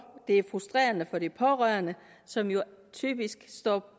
og det er frustrerende for de pårørende som jo typisk står